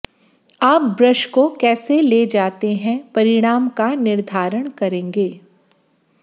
आप ब्रश को कैसे ले जाते हैं परिणाम का निर्धारण करेंगे